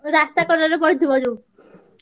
ରାସ୍ତା କଡରେ ପଡ଼ିଥିବ ଯୋଉ।